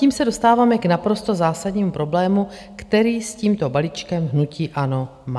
Tím se dostáváme k naprosto zásadnímu problému, který s tímto balíčkem hnutí ANO má.